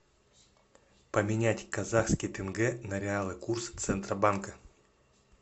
поменять казахский тенге на реалы курс центробанка